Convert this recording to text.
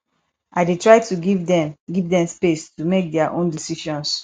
i dey try to give dem give dem space to make their own decisions